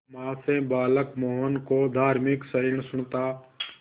मां से बालक मोहन को धार्मिक सहिष्णुता